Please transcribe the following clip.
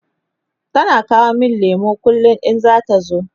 tana kawo min lemu kullum in zata zo